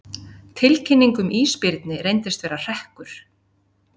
Tilkynning um ísbirni reyndist vera hrekkur